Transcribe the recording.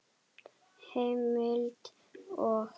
Heimild og